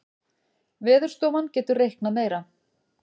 Veðurstofan getur reiknað meira